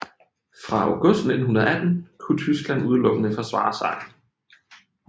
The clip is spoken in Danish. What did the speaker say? Fra august 1918 kunne Tyskland udelukkende forsvare sig